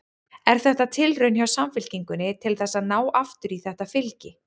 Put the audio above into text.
Er þetta tilraun hjá Samfylkingunni til þess að ná aftur í þetta fylgi?